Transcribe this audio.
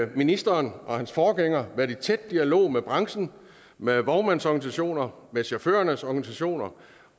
ministeren og hans forgænger været i tæt dialog med branchen med vognmandsorganisationer med chaufførernes organisationer